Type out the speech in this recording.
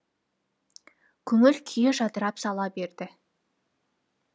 көңіл күйі жадырап сала берді